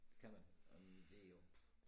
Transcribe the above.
Det kan man øh det jo